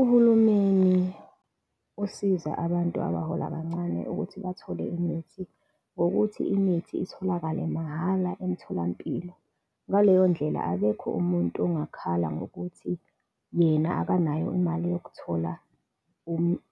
Uhulumeni usiza abantu abahola kancane ukuthi bathole imithi ngokuthi imithi itholakale mahhala emtholampilo. Ngaleyo ndlela akekho umuntu ongakhala ngokuthi yena akanayo imali yokuthola